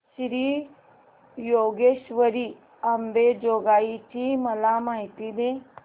श्री योगेश्वरी अंबेजोगाई ची मला माहिती दे